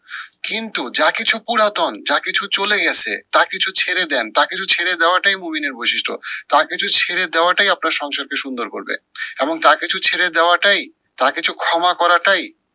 কিন্তু যা কিছু পুরাতন যা কিছু চলে গেছে তা কিছু ছেড়ে দেন, তা কিছু ছেড়ে দেয়াটাই মহিনের বৈশিষ্ট্য। তা কিছু ছেড়ে দেয়াটাই আপনার সংসারকে সুন্দর করবে এবং তা কিছু ছেড়ে দেয়াটাই, তা কিছু ক্ষমা করাটাই